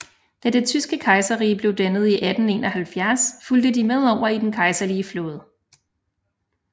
Da det tyske kejserrige blev dannet i 1871 fulgte de med over i den kejserlige flåde